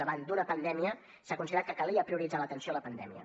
davant d’una pandèmia s’ha considerat que calia prioritzar l’atenció a la pandèmia